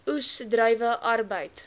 oes druiwe arbeid